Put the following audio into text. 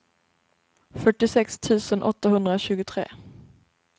fyrtiosex tusen åttahundratjugotre